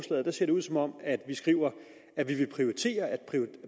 og der ser det ud som om vi skriver